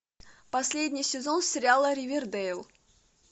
последний сезон сериала ривердэйл